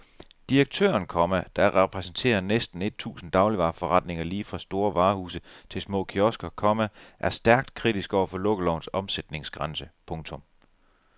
Direktøren, komma der repræsenterer næsten et tusind dagligvareforretninger lige fra store varehuse til små kiosker, komma er stærkt kritisk over for lukkelovens omsætningsgrænse. punktum